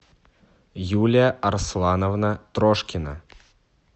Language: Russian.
юля арслановна трошкина